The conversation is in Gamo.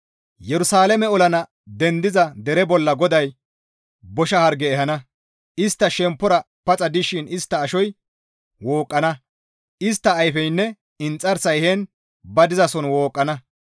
Yerusalaame olana dendiza dere bolla GODAY bosha harge ehana; istta shemppora paxa dishin istta ashoy wooqqana; istta ayfeynne inxarsay heen ba dizason wooqqana.